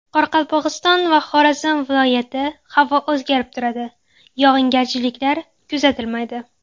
Qoraqalpog‘iston va Xorazm viloyati Havo o‘zgarib turadi, yog‘ingarchiliklar kuzatilmaydi.